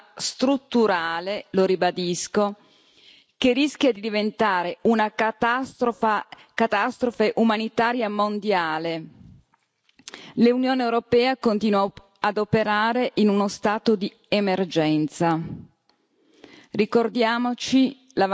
Il paradosso è che, di fronte a un problema strutturale lo ribadisco che rischia di diventare una catastrofe umanitaria mondiale, l'Unione europea continua ad operare in uno stato di emergenza.